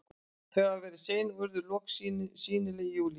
Þau hafa verið sein og urðu loks sýnileg í júlí.